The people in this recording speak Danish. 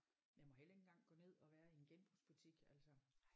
Jeg må heller ikke engang gå ned og være i en genbrugsbutik altså